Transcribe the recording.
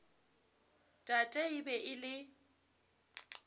tate e be e le